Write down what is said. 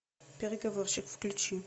переговорщик включи